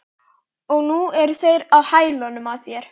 Og nú eru þeir á hælunum á þér